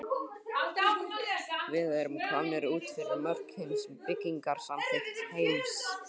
Við erum komnir út fyrir mörk hins byggingarsamþykkta heims.